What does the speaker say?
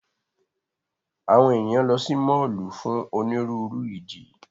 Awọn eniyan lọ si mọllu fun oniruuru idi.